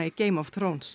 Game of